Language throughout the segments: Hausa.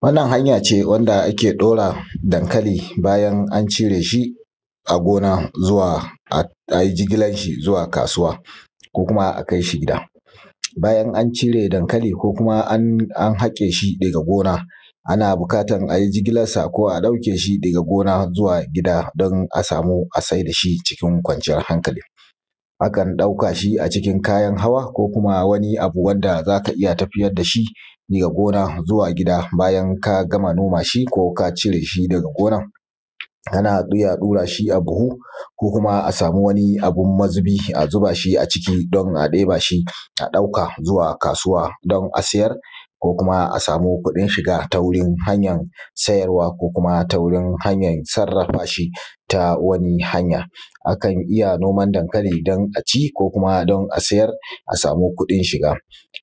Wannan hanya ce wand ake ɗora dankali bayan an cire shi a gona zuwa a; a yi jigilan shi zuwa kasuwa ko kuma a kai shi gida. Bayan an cire dankali ko kuma an; an haƙe shi daga gona, ana bukatan a yi jigilas sa ko a ɗauke shi daga gona zuwa gida don a samu a se da shi cikin kwanciyar hankali. Akan ɗauka shi a cikin kayan hawa ko kuma wani abu wanda za ka iya tafiyad da shi ya gona zuwa gida, bayan ka gama noma shi ko ka cire shi daga gonan. Ana iya ɗura shi a buhu ko kuma a sami wani abun mazubi, a zuba shi a ciki don a ɗeba shi, a ɗauka zuwa kasuwa don a siyar. Ko kuma, a samu kuɗin shiga ta wurin hanyan sayarwa ko kuma ta wurin hanyan sarrafa shi ta wani hanya. Akan iya noman dankali don a ci ko kuma don a siyar a sami kuɗin shiga.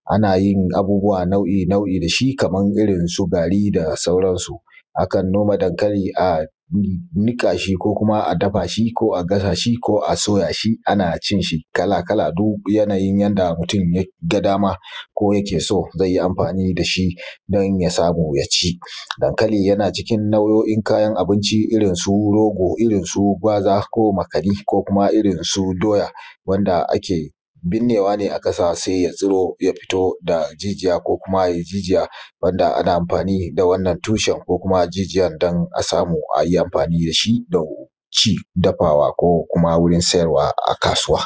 Ana yin abubuwa nau’i nau’i da shi, kaman irin su gari da sauran su. Akan noma dankali a nih; niƙa shi ko kuma a dafa shi ko a gasa shi ko a soya shi ana cin shi kala-kala duk yanayin yanda mutun ya ga dama ko yake so, ze yi amfani da shi, don ya samu ya ci. Dankali yana cikin nau’o’in kayan abinci, irin su rogo, irin su gwaza ko makani ko kuma irin su doya, wanda ake binnewa ne a ƙasa, se ya tsiro, ya fito da jijiya ko kuma yai jijiya. Wanda ana amfani da wannan tushen ko kuma jijiyan dan a samu a yi amfani da shi don ci, dafawa ko kuma wurin sayarwa a kasuwa.